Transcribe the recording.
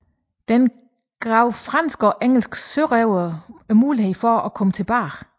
Dette gav franske og engelske sørøvere muligheden for at komme tilbage